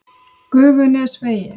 Gufunesvegi